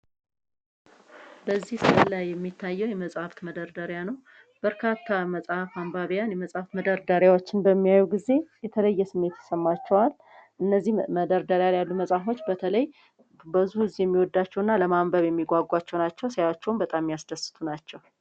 በዚህ ምስል ላይ የሚታየው የመጽሃፍት መደርደሪያ ነው። በርካታ የመጽሃፍ መደርደሪያ ሲያይ የተለየ ስሜት ይሰማቸዋል። እነዚህም መደርደሪያ ላይ ያሉ መጽሃፎች ብዙ ሰዎች ለማንበብ የሚጓጓላቸው ናቸው። ሲታዩም በጣም የሚያስደስቱ ናቸው።